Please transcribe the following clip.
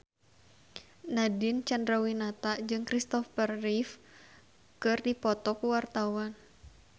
Nadine Chandrawinata jeung Christopher Reeve keur dipoto ku wartawan